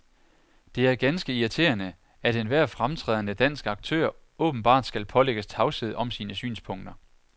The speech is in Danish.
Det er ganske irriterende, at enhver fremtrædende dansk aktør åbenbart skal pålægges tavshed om sine synspunkter.